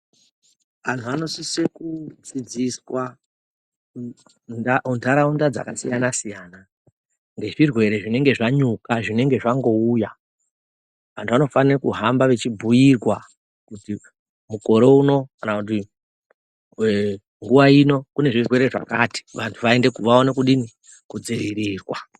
Antu anosise kudzidziswa munharaunda dzakasiyana-siyana, nezvirwere zvinenge zvanyuka zvinenge zvangouya. Antu anofanira kuhamba echibhuirwa kuti mukore uno kana kuti ee nguva kune zvirwere zvakati kuti vantu vaone kudini kudzivirirwa.